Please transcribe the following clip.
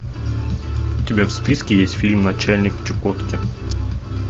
у тебя в списке есть фильм начальник чукотки